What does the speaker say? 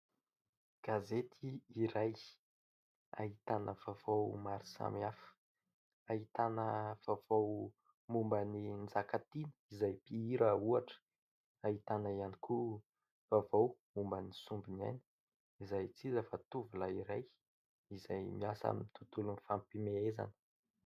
Gazety iray, ahitana vaovao maro samihafa; ahitana vaovao momban'i Njakatiana, izay mpihira, ohatra; ahitana ihany koa vaovao momban'i Sombiniaina, izay tsy iza fa tovolahy iray izay miasa amin'ny tontolon'ny fampiasana.